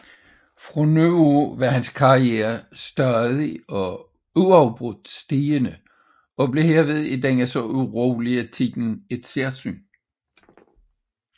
Fra nu af var hans karriere stadig og uafbrudt stigende og blev herved i denne så urolige tid et særsyn